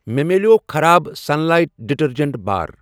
مےٚ مِلٮ۪و خراب سنلایٹ ڈِٹٔرجنٛٹ بار۔